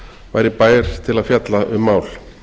væri bær til að fjalla um mál